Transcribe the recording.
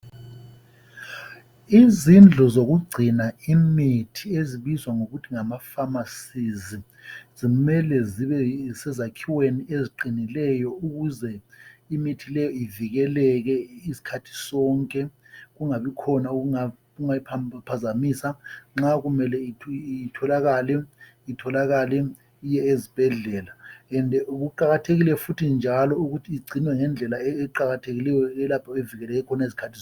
Izindlu zokugcina imithi ezibizwa ngokuthi ngammafamasizi, zimele zibe sezakhiweni eziqinilelo ukuze imithi leyi ivikeleke skhathi sonke. Kungabi khona okungayiphazamisa. Nxa kumele itholakale, itholakale iye esibhedlela. Kuqakathekile futhi njalo ukuthi igcinwe ngedlela eqakathekileyo elapho evikeleke khona skhathi sonke.